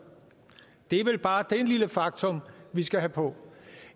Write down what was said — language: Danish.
er vel bare det lille faktum vi skal have på